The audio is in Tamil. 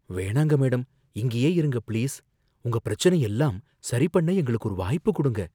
வேணாங்க மேடம்...இங்கேயே இருங்க பிளீஸ், உங்க பிரச்சனைய எல்லாம் சரிபண்ண எங்களுக்கு ஒரு வாய்ப்புக் குடுங்க